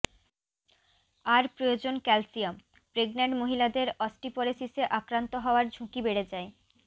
আর প্রয়োজন calcium pregnant মহিলাদের অস্টিপরেসিসে আক্রান্ত হওয়ার ঝুঁকি বেড়ে যায়